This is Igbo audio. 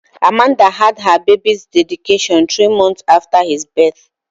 Amanda had her baby's dedication three months after his birth.